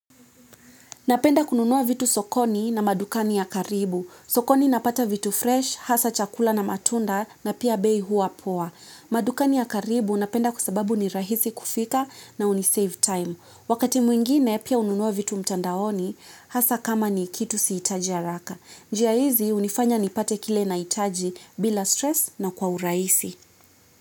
Napenda kununua vitu sokoni na madukani ya karibu sokoni napata vitu fresh, hasa chakula na matunda na pia bei huwa poa. Madukani ya karibu napenda kwa sababu ni rahisi kufika na hunisave time. Wakati mwingine pia hununua vitu mtandaoni, hasa kama ni kitu sihitaji haraka. Njia hizi hunifanya nipate kile nahitaji bila stress na kwa urahisi.